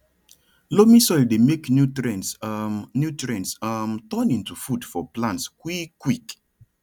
loamy soil dey make nutrients um nutrients um turn into food for plants quick quick